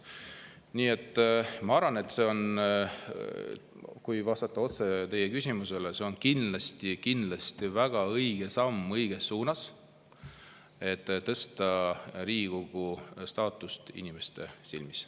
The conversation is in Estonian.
Nii et ma arvan, kui vastata otse teie küsimusele, et see on kindlasti väga õige samm õiges suunas, et tõsta Riigikogu staatust inimeste silmis.